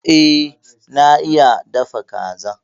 E, na iya dafa kaza.